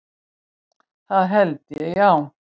Það held ég, já.